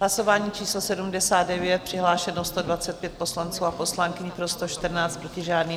Hlasování číslo 79, přihlášeno 125 poslanců a poslankyň, pro 114, proti žádný.